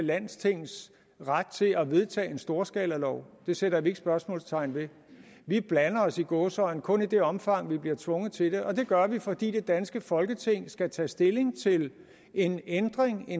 landstings ret til at vedtage en storskalalov det sætter vi ikke spørgsmålstegn ved vi blander os i gåseøjne kun i det omfang vi bliver tvunget til det og det gør vi fordi det danske folketing skal tage stilling til en ændring af